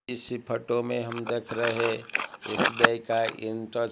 इसी फोटो में हम देख रहे हैं एस_बी_आई का इंटर--